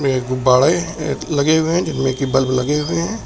ये गुब्बारे लगे हुए हैं जिनमें की बल्ब लगे हुए हैं।